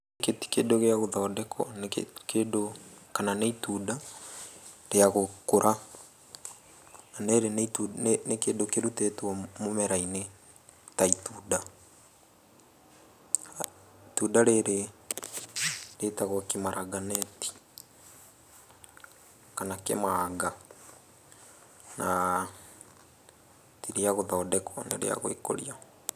Gĩkĩ ti kĩndũ gĩa gũthondekwo, nĩ kĩndũ kana nĩ itunda rĩa gũkũra, na rĩrĩ nĩ kĩndũ kĩrutĩtwo mũmera-inĩ ta itunda. Itunda rĩrĩ rĩtagwo kimaranganeti, kana kĩmanga, na ti rĩa gũthondekwo nĩrĩagwĩkũria.